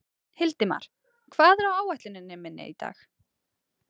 Hildimar, hvað er á áætluninni minni í dag?